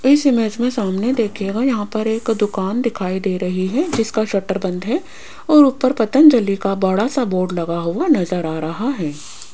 इस इमेज में सामने देखिएगा यहां पर एक दुकान दिखाई दे रही है जिसका शटर बंद है और ऊपर पतंजलि का बड़ा सा बोर्ड लगा हुआ नजर आ रहा है।